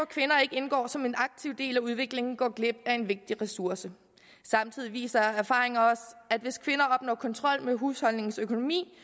kvinder ikke indgår som en aktiv del af udviklingen går glip af en vigtig ressource samtidig viser erfaringer os at hvis kvinder opnår kontrol med husholdningens økonomi